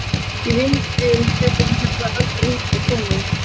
Ég vildi þeir hefðu aldrei hingað komið.